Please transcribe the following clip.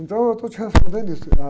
Então eu estou te respondendo isso.